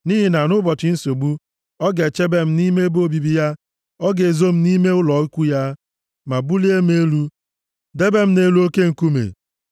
Nʼihi na nʼụbọchị nsogbu, ọ ga-echebe m nʼime ebe obibi ya; ọ ga-ezo m nʼime ụlọ ikwu ya; ma bulie m elu, debe m nʼelu oke nkume.